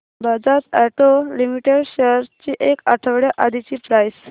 Bajaj auto limited shares ची एक आठवड्या आधीची प्राइस